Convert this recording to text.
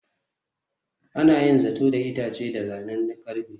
Ana yin zato da itace da zanen ƙarfe.